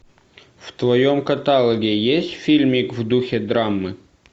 в твоем каталоге есть фильмик в духе драмы